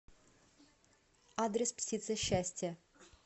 адрес птица счастья